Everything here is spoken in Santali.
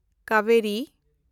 ᱠᱟᱵᱮᱨᱤ